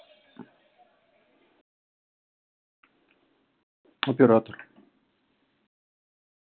оператор